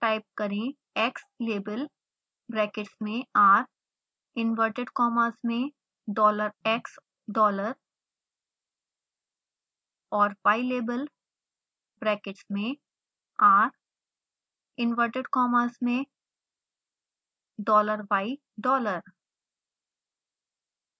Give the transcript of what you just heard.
type करें xlabel brackets में r inverted commas में dollar x dollar और ylabel ब्रैकेट्स में r इंवर्टेड कॉमास में dollar y dollar